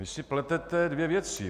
Vy si pletete dvě věci.